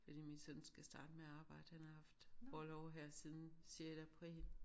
Fordi min søn skal starte med at arbejde han har haft orlov her siden sjette april